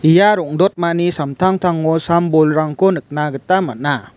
ia rong·dotmani samtangtango sam-bolrangko nikna gita man·a.